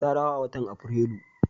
Ta dawo a watan Aprilu.